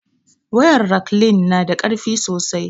Wayar raklin na da karfi sosai